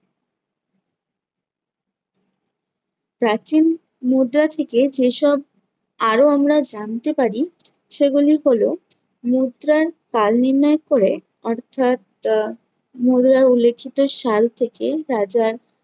প্রাচীন মুদ্রা থেকে যেসব আরো আমরা জানতে পারি সেগুলি হলো মুদ্রার কাল নির্ণয় ক'রে অর্থাৎ আহ মুদ্রায় উল্লেখিত সাল থেকে রাজার